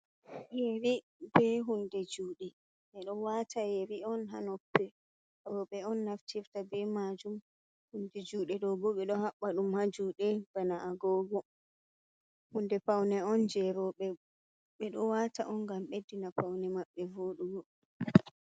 Yeri be hunde juuɗe ɓe ɗo wata yeri on ha noppi rooɓe on naftirta be majum, hunde juuɗe do bo ɓe ɗo haɓɓa ɗum ha juuɗe bana agogo hunde paune on jei roobe, ɓe ɗo wata on ngam beddina paune maɓɓe vooɗugo.